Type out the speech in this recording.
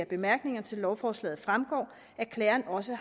bemærkningerne til lovforslaget fremgår at klageren også